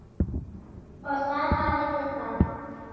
Og þar hafið þið það!